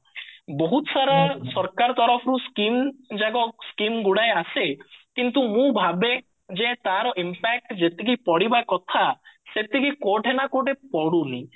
ବହୁତ ସାରା ସରକାର ତରଫରୁ skim ଯାକ skim ଗୁଡାଏ ଆସେ କିନ୍ତୁ ମୁଁ ଭାବେ ଯେ ତାର impact ଯେତିକି ପଡିବା କଥା ସେତିକି କୌଠି ନା କଅଠି ପଡୁନି